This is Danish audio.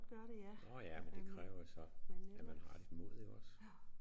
Nåh ja men det kræver jo så at man har lidt mod ik også